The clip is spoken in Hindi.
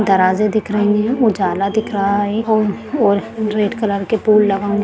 दराजे दिख रही है उजाला दिख रहा है और रेड कलर के फूल